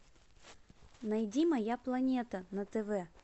найди моя планета на тв